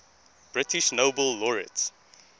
british nobel laureates